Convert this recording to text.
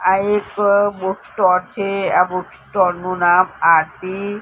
આ એક બુકસ્ટોર છે આ બુકસ્ટોર નુ નામ આરતી--